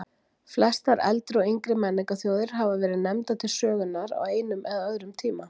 Flestar eldri og yngri menningarþjóðir hafa verið nefndar til sögunnar á einum eða öðrum tíma.